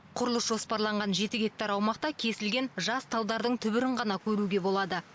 құрылыс жоспарланған жеті гектар аумақта кесілген жас талдардың түбірін ғана көруге болады